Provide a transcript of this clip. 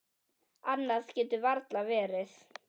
Annað getur varla verið.